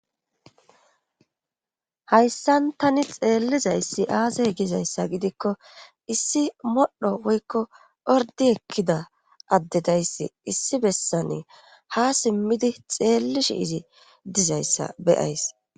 Hayssan tani xeellizayssi aase gizayssa gidikko issi modhdho woykko ordi ekkida added ayssi issi bessane ha simmidi xeellishshi izii dizayssa be'ays